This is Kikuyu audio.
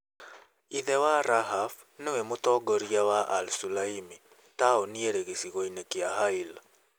Ithe wa Rahaf nĩwe mũtongoria wa al-Sulaimi, taũni ĩrĩ gĩcigo-inĩ kĩa Hail.